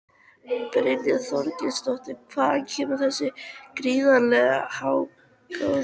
Brynja Þorgeirsdóttir: Hvaðan kemur þessi gríðarlegi hagnaður?